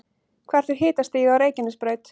hvert er hitastigið á reykjanesbraut